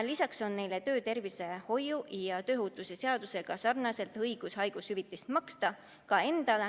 Lisaks on neil töötervishoiu ja tööohutuse seaduse kohaselt õigus haigushüvitist maksta ka endale.